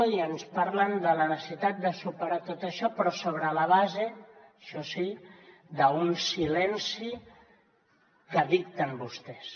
i ens parlen de la necessitat de superar tot això però sobre la base això sí d’un silenci que dicten vostès